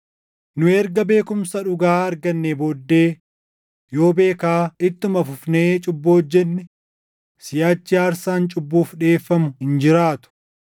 Nu erga beekumsa dhugaa argannee booddee yoo beekaa ittuma fufnee cubbuu hojjenne, siʼachi aarsaan cubbuuf dhiʼeeffamu hin jiraatu;